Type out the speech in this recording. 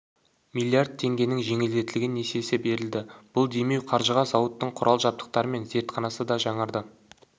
млрд теңгенің жеңілдетілген несиесі берілді бұл демеу қаржыға зауыттың құрал жабдықтары мен зертханасы да жаңарды